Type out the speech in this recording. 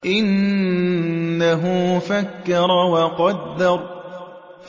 إِنَّهُ فَكَّرَ وَقَدَّرَ